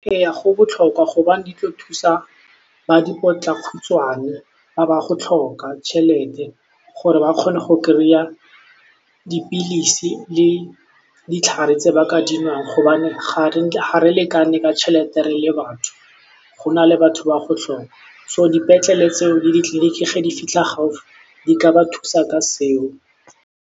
Eya go botlhokwa gobane di tlo thusa ba dipotlakhutshwane ba ba go tlhoka tšhelete gore ba kgone go kry-a dipilisi le ditlhare tse baka di nwang gobane ga re lekane ka tšhelete re le batho go na le batho ba go tlhoka so dipetlele tseo le ditleliniki ge di fitlha gaufi di ka ba thusa ka seo.